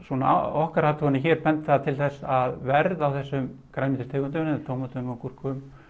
okkar athuganir hér benda til þess að verð á þessum tegundum tómötum gúrkum